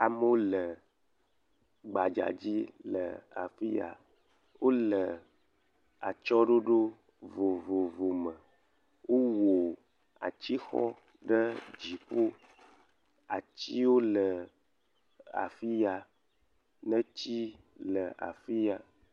Amewo le gbadza dzi le afi ya, wole atsyɔ̃ɖoɖo vovovovo me wowɔ atixɔ ɖe dziƒo, atiwo le afi ya neti le afi ya.